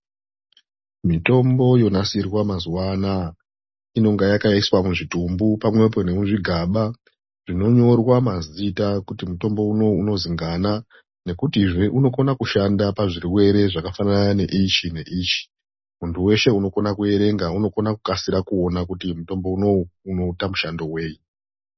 Mitombo yonasirwa mazuwa anaa inenge yakaiswa muzvitumbu pamwepo nemu muzvigaba zvinonyorwa mazita kuti mutombo unou unozi ngana nekutizve unokona kushanda pazvirwere zvakafanana neichi neichi muntu weshe unokona kuerenga unokona kukasira kuona kuti mutombo unou unoita mushando wei.